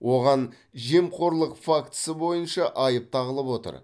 оған жемқорлық фактісі бойынша айып тағылып отыр